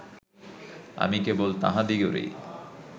আমি কেবল তাঁহাদিগেরই